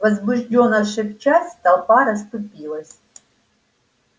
возбуждённо шепчась толпа расступилась